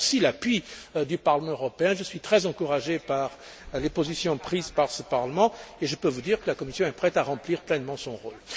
J'attends aussi le soutien du Parlement européen, je suis très encouragé par les positions prises par ce Parlement et je peux vous dire que la Commission est prête à remplir pleinement son rôle.